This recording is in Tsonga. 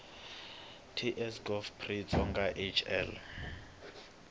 ts gov pri xitsonga hl